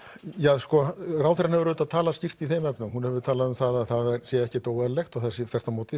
já sko ráðherrann hefur auðvitað talað skýrt í þeim efnum hún hefur talað um að það sé ekkert óeðlilegt og þvert á móti